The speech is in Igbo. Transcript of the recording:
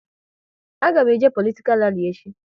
A ga m eje politikal rali echi